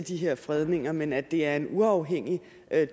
de her fredninger men at det er en uafhængig